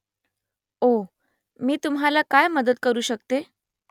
ओह ? मी तुम्हाला काय मदत करू शकते ?